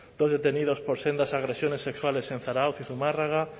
dos detenidos por sendas agresiones sexuales en zarautz y zumárraga